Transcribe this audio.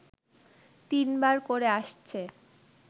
তিনবার করে আসছে